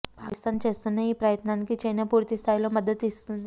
పాకిస్తాన్ చేస్తున్న ఈ ప్రయత్నానికి చైనా పూర్తి స్థాయిలో మద్దతు ఇస్తుంది